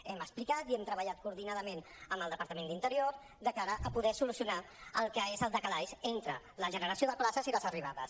hem explicat i hem treballat coordinadament amb el departament d’interior de cara a poder solucionar el que és el decalatge entre la generació de places i les arribades